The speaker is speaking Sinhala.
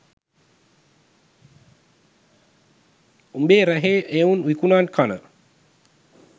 උඹේ රැහේ එවුන් විකුනන් කන